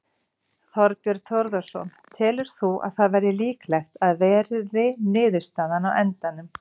Þorbjörn Þórðarson: Telur þú að það verði líklegt að verði niðurstaðan á endanum?